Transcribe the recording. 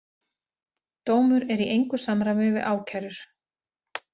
Dómur í engu samræmi við ákærur